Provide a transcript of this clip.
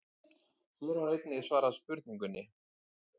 Hér var einnig svarað spurningunni: